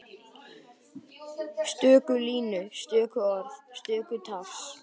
Stöku línur, stöku orð, stöku tafs.